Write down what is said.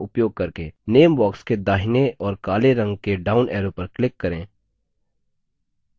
name box के दाहिने ओर काले रंग के down arrow पर click करें